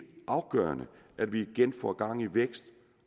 afgørende at vi igen får gang i vækst